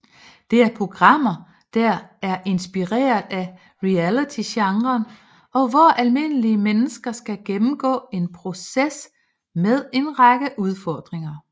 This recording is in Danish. Det er programmer der er inspireret af realitygenren og hvor almindelige mennesker skal gennemgå en proces med en række udfordringer